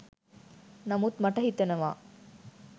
නමුත් මට හිතෙනවා